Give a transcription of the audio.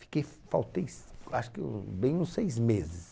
Fiquei, faltei, acho que um... bem uns seis meses.